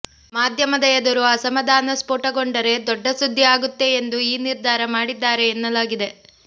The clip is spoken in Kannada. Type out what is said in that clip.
ಮಾಧ್ಯಮದ ಎದುರು ಅಸಮಾಧಾನ ಸ್ಪೋಟಗೊಂಡರೆ ದೊಡ್ಡ ಸುದ್ದಿ ಆಗುತ್ತೆ ಎಂದು ಈ ನಿರ್ಧಾರ ಮಾಡಿದ್ದಾರೆ ಎನ್ನಲಾಗಿದೆ